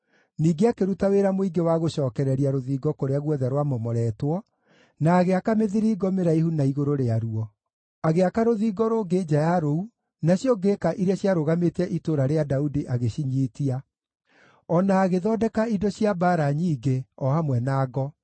Ningĩ akĩruta wĩra mũingĩ wa gũcookereria rũthingo kũrĩa guothe rwamomoretwo, na agĩaka mĩthiringo mĩraihu na igũrũ rĩa ruo. Agĩaka rũthingo rũngĩ nja ya rũu, nacio ngĩĩka iria ciarũgamĩtie Itũũra rĩa Daudi agĩcinyiitia. O na agĩthondeka indo cia mbaara nyingĩ, o hamwe na ngo.